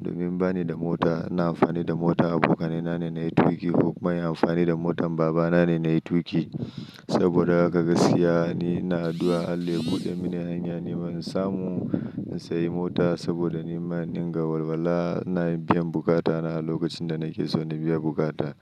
Domin bani da mota ina amfani da motar abokanai na ne nayi tuƙi ko kuma in yi amfani da motar baba na ne nayi tuƙi. Saboda haka ka gaskiya ni ina addu'a Allah ya buɗe mini hanya niman in samu in siya mota saboda niman in dinga walwala ina biyan bukata na a lokacin da nake so na biya buƙata.